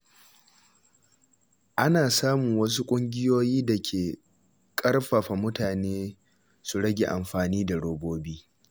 An samu wasu ƙungiyoyi da ke ƙarfafa mutane su rage amfani da robobi.